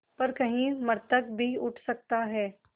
पर कहीं मृतक भी उठ सकता है